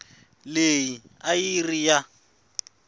leyi a yi ri ya